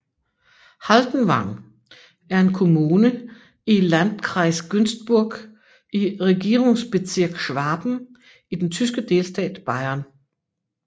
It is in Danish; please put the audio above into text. Haldenwang er en kommune i Landkreis Günzburg i Regierungsbezirk Schwaben i den tyske delstat Bayern